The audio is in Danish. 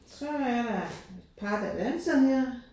Så er der par der danser her